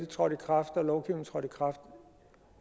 trådt i kraft